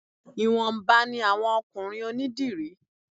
Ìwọ̀nba ni àwọn ọkùnrin onídìrí